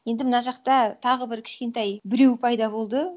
енді мына жақта тағы бір кішкентай біреу пайда болды